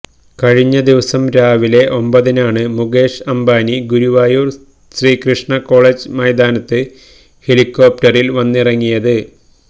കഴിഞ്ഞദിവസം രാവിലെ ഒമ്പതിനാണ് മുകേഷ് അംബാനി ഗുരുവായൂർ ശ്രീകൃഷ്ണ കോളജ് മൈതാനത്ത് ഹെലികോപ്റ്ററിൽ വന്നിറങ്ങിയത്